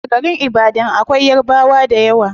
A garin ibadan akwai yarabwa dayawa